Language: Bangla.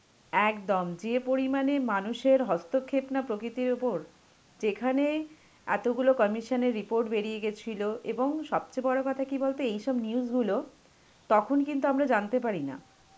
একদম, যে পরিমাণে মানুষের হস্তক্ষেপ না প্রকৃতির ওপর. যেখানে এতগুলো commission এর report বেরিয়ে গেছিল এবং সবচেয়ে বড় কথা কি বলতো এইসব news গুলো তখন কিন্তু আমরা জানতে পারি না.